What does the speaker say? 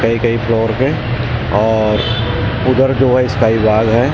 कई कई फ्लोर पे और उधर जो है इसका ही बाग है उस साइड --